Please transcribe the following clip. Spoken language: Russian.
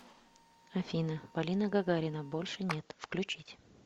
афина полина гагарина больше нет включить